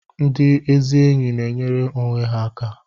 Ndị ezi enyi na-enyere onwe ha aka